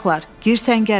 Gir səngərə.